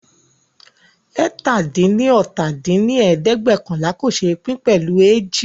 eétalá-dín-ní-ọ́ta dín ní ẹ̀ẹ́dẹ́gbẹ́ọ̀kànlá kò ṣé pín pẹ̀lú ééji